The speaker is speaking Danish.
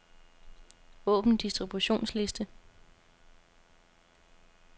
Åbn distributionsliste.